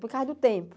Por causa do tempo.